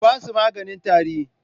Ku ba su maganin tari?